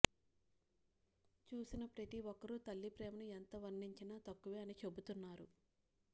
చుసిన ప్రతి ఒక్కరు తల్లి ప్రేమను ఎంత వర్ణించినా తక్కువే అని చెబుతున్నారు